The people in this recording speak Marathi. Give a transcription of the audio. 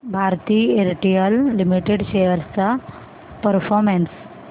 भारती एअरटेल लिमिटेड शेअर्स चा परफॉर्मन्स